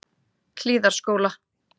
Hlíðarskóla